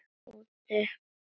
Hvar var Tóti?